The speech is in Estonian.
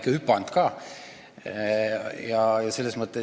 Alati olen ikka püüdnud üle hüpata.